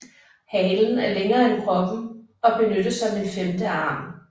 Halen er længere end kroppen og benyttes som en femte arm